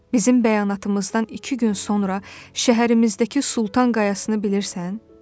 Bizim bəyanatımızdan iki gün sonra şəhərimizdəki Sultan Qayasını bilirsən?